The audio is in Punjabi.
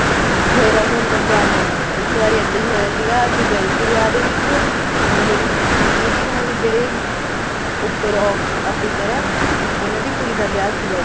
ਫ਼ੇਰ ਉਹ ਅੰਦਰ ਜਾਣ ਦਿੰਨੇ ਆ ਇੱਕ ਵਾਰੀ ਇਹਦਾ ਹੀ ਹੋਇਆ ਸੀਗਾ ਅਸੀਂ ਗਏ ਸੀਗੇ ਵਿਆਹ ਦੇ ਵਿੱਚ ਮਤਲਬ ਮੇਰੀ ਮੰਮੀ ਦੀ ਗਹਾਂ ਜਿਹੜੇ ਉੱਪਰ officer ਆ ਉਹਨਾ ਦੀ ਕੁੜੀ ਦਾ ਵਿਆਹ ਸੀਗਾ